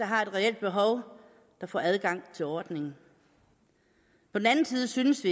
har et reelt behov der får adgang til ordningen på den anden side synes